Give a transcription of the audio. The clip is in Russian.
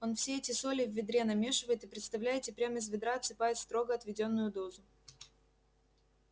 он все эти соли в ведре намешивает и представляете прям из ведра отсыпает строго отведённую дозу